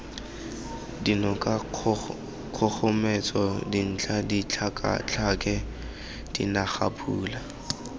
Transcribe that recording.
dinoka kgogometso dintlha ditlhakatlhake dinagapula